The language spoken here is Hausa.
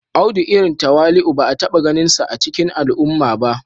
Audu irin tawali'u ba a taba ganinsa a cikin al'umma ba